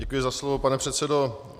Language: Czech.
Děkuji za slovo, pane předsedo.